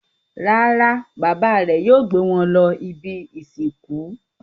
Rárá, bàbá rẹ̀ yóò gbé wọn lọ ibi-ìsìnkú.